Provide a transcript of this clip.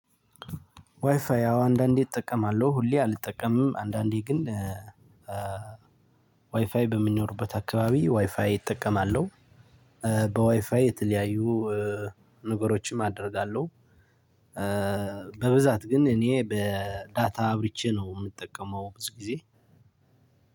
ዋይፋይ አዎ አንዳንዴ እጠቀማለሁ። ሁሌ አልጠቀምም። አንዳንዴ ግን ዋይፋይ በሚኖርበት አካባቢ ዋይፋይ እጠቀማለሁ። በዋይፋይ የተለያዩ ነገሮችም አደርጋለሁ። በብዛት ግን እኔ በዳታ አብርቼ ነው የምጠቀመው ብዙ ጊዜ